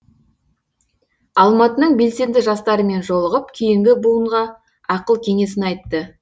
алматының белсенді жастарымен жолығып кейінгі буынға ақыл кеңесін айтты